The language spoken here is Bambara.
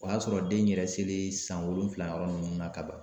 O y'a sɔrɔ den yɛrɛ selen san wolonfila yɔrɔ nunnu na ka ban.